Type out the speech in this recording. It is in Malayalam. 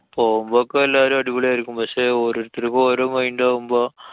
പോവുമ്പോ ഒക്കെ എല്ലാരും അടിപൊളി ആയിരിക്കും. പക്ഷെ ഓരോരുത്തര്‍ക്ക് ഓരോ mind ആവുമ്പോ